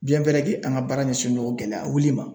an ka baara ɲɛsinnen gɛlɛyawuli ma.